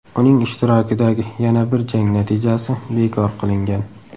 Uning ishtirokidagi yana bir jang natijasi bekor qilingan.